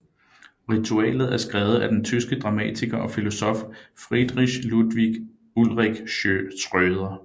Ritualet er skrevet af den tyske dramatiker og filosof Friedrich Ludwig Ulrich Schröder